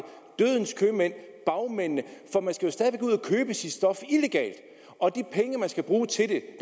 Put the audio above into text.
dødens købmænd bagmændene at købe sit stof illegalt og de penge man skal bruge til det